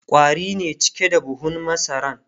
ƙwari ne cike da buhun masaran